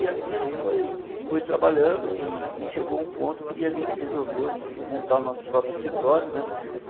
E assim a gente foi foi trabalhando e e chegou a um ponto que a gente resolveu montar o nosso próprio escritório né.